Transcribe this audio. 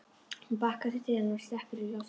Hún bakkar til dyranna og slekkur í loftinu.